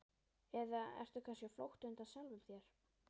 Eða ertu kannski á flótta undan sjálfum þér?